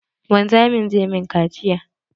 Wanzamin zai min kaciya